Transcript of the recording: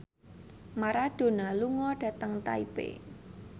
Maradona lunga dhateng Taipei